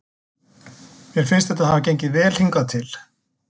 Mér finnst þetta hafa gengið vel hingað til.